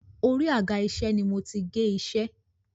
Orí àga-iṣẹ́ ni mo ti gé iṣẹ́.